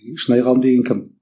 шынайы ғалым деген кім